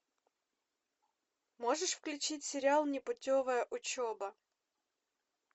можешь включить сериал непутевая учеба